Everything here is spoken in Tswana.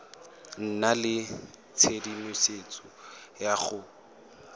nna le tshedimosetso ya go